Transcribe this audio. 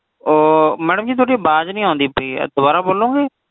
ਅਹ madam ji ਤੁਹਾਡੀ ਅਵਾਜ ਨਹੀਂ ਆਂਦੀ ਪਈ ਹੈ ਦੁਬਾਰਾ ਬੋਲੋਂਗੇ